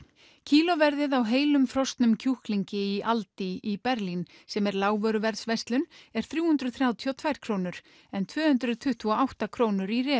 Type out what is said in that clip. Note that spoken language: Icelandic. kílóverðið á heilum frosnum kjúklingi í aldi í Berlín sem er lágvöruverðsverslun er þrjú hundruð þrjátíu og tvær krónur en tvö hundruð tuttugu og átta krónur í